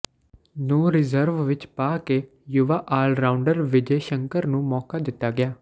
ਨੂੰ ਰਿਜ਼ਰਵ ਵਿੱਚ ਪਾ ਕੇ ਯੁਵਾ ਆਲਰਾਊਂਡਰ ਵਿਜੇ ਸ਼ੰਕਰ ਨੂੰ ਮੌਕਾ ਦਿੱਤਾ ਗਿਆ